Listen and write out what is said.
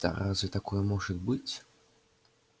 да разве такое может быть